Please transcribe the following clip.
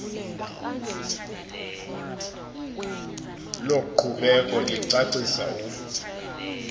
loqhubeko licacisa u